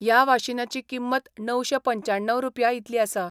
या वाशिनाची किंमत णवशे पंच्याण्णव रुपया इतली आसा.